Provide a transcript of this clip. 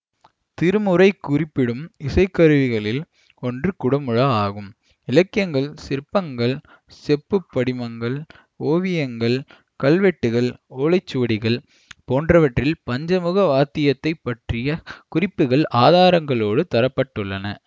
திருமுறை குறிப்பிடும் இசைக்கருவிகளில் ஒன்று குடமுழா ஆகும் இலக்கியங்கள் சிற்பங்கள் செப்புப்படிமங்கள் ஓவியங்கள் கல்வெட்டுக்கள் ஓலைச்சுவடிகள் போன்றவற்றில் பஞ்சமுக வாத்தியத்தைப் பற்றிய குறிப்புகள் ஆதாரங்களோடு தர பட்டுள்ளன